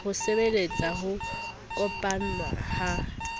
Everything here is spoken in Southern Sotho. ho sebeletsa ho kopanngwa ha